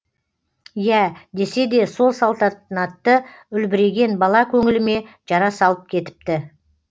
иә десе де сол салтанатты үлбіреген бала көңіліме жара салып кетіпті